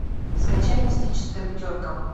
скачай мистическая пятерка